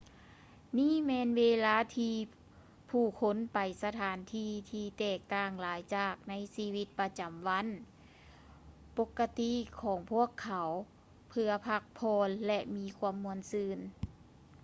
ນີ້ແມ່ນເວລາທີ່ຜູ້ຄົນໄປສະຖານທີ່ ທີ່ແຕກຕ່າງຫຼາຍຈາກໃນຊີວິດປະຈຳວັນປົກກະຕິຂອງພວກເຂົາ ເພື່ອພັກຜ່ອນ ແລະ ມີຄວາມມ່ວນຊື່ນ